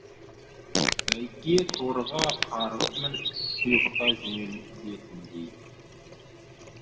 бәйге торыға қарғып мініп құйғыта жөнелетіндей